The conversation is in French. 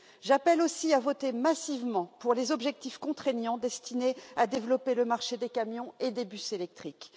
J'appelle aussi à voter massivement pour les objectifs contraignants destinés à développer le marché des camions et des bus électriques.